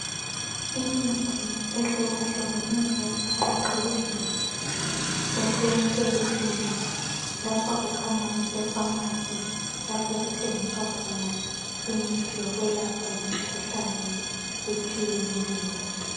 Imithi ehlukehlukeneyo eqoqiweyo eseshelufuni lapha kukhanya kuse pharmacy lapho okuthengiswa khona imithi yokwelapha imikhuhlane etshiyeneyo.